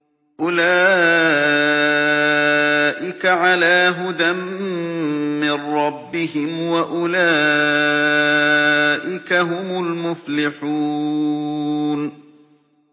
أُولَٰئِكَ عَلَىٰ هُدًى مِّن رَّبِّهِمْ ۖ وَأُولَٰئِكَ هُمُ الْمُفْلِحُونَ